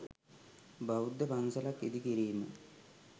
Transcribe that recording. බෞද්ධ පන්සලක් ඉදි කිරීම